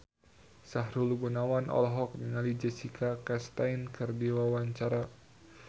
Sahrul Gunawan olohok ningali Jessica Chastain keur diwawancara